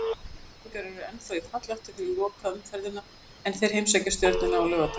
Ólafsvíkingar eru ennþá í fallhættu fyrir lokaumferðina en þeir heimsækja Stjörnuna á laugardag.